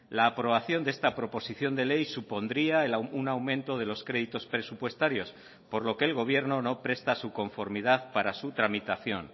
la aprobación de esta proposición de ley supondría un aumento de los créditos presupuestarios por lo que el gobierno no presta su conformidad para su tramitación